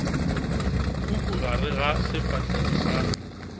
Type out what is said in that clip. puku gare ga sefahlego sa